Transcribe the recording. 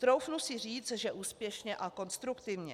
Troufnu si říct, že úspěšně a konstruktivně.